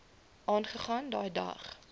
aangegaan daai dag